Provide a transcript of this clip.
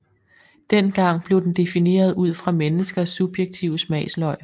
Dengang blev den defineret ud fra menneskers subjektive smagsløg